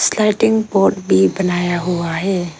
Sliding board भी बनाया हुआ है।